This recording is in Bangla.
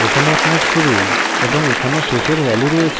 এখানে আপনার শুরুর এবং এখানে শেষের value রয়েছে